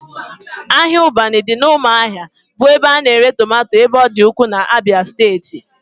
Ahịa Ụbanị dị n'ụmụahia bụ ebe a na-ere tomato ebe ọ dị ukwuu n'Abia steeti